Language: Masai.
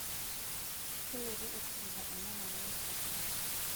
Kelotu esujita enyamali enkitashoto.